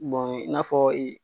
i n'a fɔ